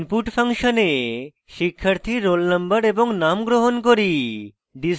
input ফাংশনে শিক্ষার্থীর roll _ no এবং name গ্রহণ করি